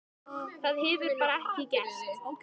Það hefur bara ekki gerst.